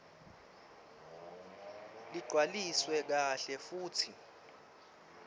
lagcwaliswe kahle futsi